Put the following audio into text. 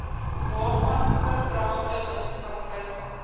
waarvan oordragte munisipaliteite